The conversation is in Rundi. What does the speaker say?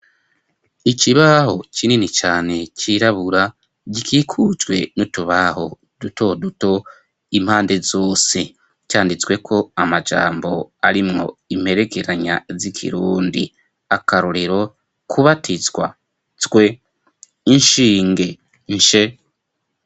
Ikibaho kinini cane cirabura gikikujwe n'utubaho dutoduto impande zose canditsweko amajambo arimwo imperegeranya z'ikirundi akarorero kubatizwa zwe, inshinge nshe.